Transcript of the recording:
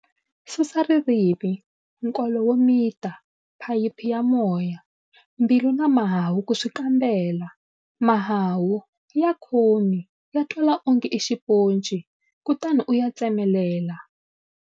Susa ririmi, nkolo wo mita, phayiphi ya moya, mbilu na mahahu ku swi kambela-Mahahu-Ya khomi, ya twala onge i xiponci, kutani u ya tsemelela.